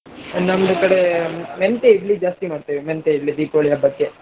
ನಮ್ದು ಕಡೇ ಮೆಂತೆ Idli ಜಾಸ್ತಿ ಮಾಡ್ತೇವಿ ಮೆಂತೆ Idli, Deepavali ಹಬ್ಬಕ್ಕೆ.